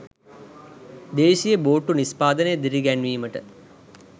දේශීය බෝට්ටු නිෂ්පාදනය දිරිගැන්වීමට